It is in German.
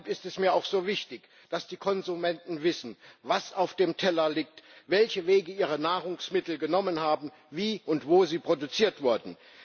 Deshalb ist es mir auch so wichtig, dass die Konsumenten wissen, was auf dem Teller liegt, welche Wege ihre Nahrungsmittel genommen haben, wie und wo sie produziert wurden.